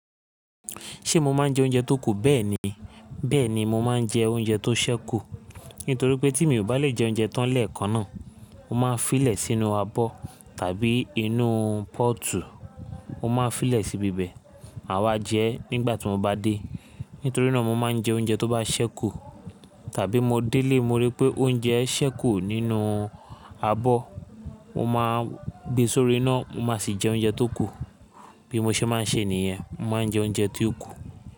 Ṣé mo máa ń jẹ oúnjẹ tó kù? Bẹ́ẹ̀ni. Bẹ́ẹ̀ni mo máa ń jẹ oúnjẹ tó ṣẹ́kù. Nítorí pé tí mii bà lè jẹ oúnjẹ tán lẹ́ẹ̀kan náà, mo máa fí lè sínú abọ́ tàbí inú pọ́ọ̀tù, mo máa fí lè sí ibibẹ̀, màá wa jẹ nígbà tí mo bá dé. Nítorí náà mo máa ń jẹ oúnjẹ tó bá ṣẹ́kù. Tàbí mo dé ilé, mo rí pé oúnjẹ ṣẹ́kù nínú abọ́, mo máa gbe sórí iná, mo máa sì jẹ oúnjẹ tó kù. Bí mo ṣe máa ń ṣe nìyẹn, mo máa ń jẹ oúnjẹ tó kù.